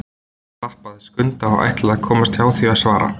Emil klappaði Skunda og ætlaði að komast hjá því að svara.